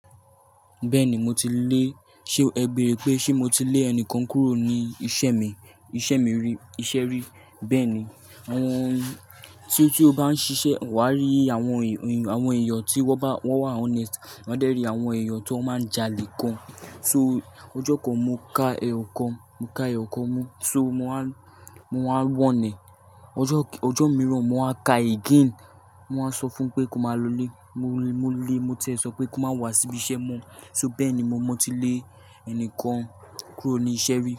Bẹ́ẹ̀ni mo ti lé, ṣe ẹ bèrè pé ṣe mo ti lé ẹnìkan kúrò ní isẹ́ mi, isẹ́ mi rí, iṣẹ́ rí? Bẹ́ẹ̀ni. Ehn tí, tí o bá ń ṣiṣẹ́, wà á rí àwọn èèyàn tí wọ́n bá, wọ́n wà honest, wà á dẹ́ rí àwọn èèyàn tó máa ń jalè gan. So ojó kan mo ká èyàn kan, mo ká èyàn kan mó. So mo wá, mo wáa warn ẹ. Ọjọ́, ọjọ́ mìíràn mo máa ka again. Mo máa sọ fún pé kó má lọlé, mo lé, mo tì sọ pé kó má wá síbi iṣẹ́ mọ. So bẹ́ẹ̀ni mo ti lé ẹnìkan kúrò ní isẹ́ rí.